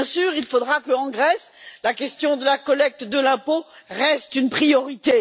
Il faudra qu'en Grèce, la question de la collecte de l'impôt reste une priorité.